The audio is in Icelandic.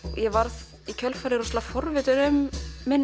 ég varð í kjölfarið ótrúlega forvitin um